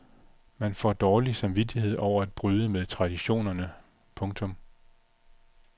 Man får dårlig samvittighed over at bryde med traditionerne. punktum